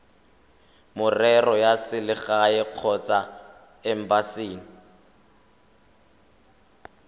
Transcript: merero ya selegae kgotsa embasing